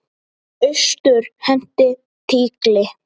Austur henti tígli.